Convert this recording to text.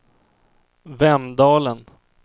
Vemdalen